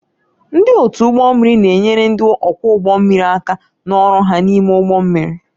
Ndị otu ụgbọ mmiri na-enyere ndị ọkwọ ụgbọ mmiri aka n'ọrụ ha n'ime ụgbọ mmiri